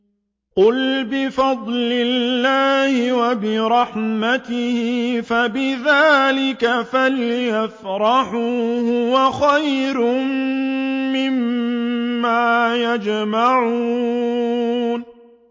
قُلْ بِفَضْلِ اللَّهِ وَبِرَحْمَتِهِ فَبِذَٰلِكَ فَلْيَفْرَحُوا هُوَ خَيْرٌ مِّمَّا يَجْمَعُونَ